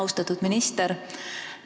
Austatud minister!